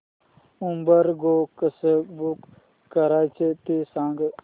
Uber Go कसं book करायचं ते सांग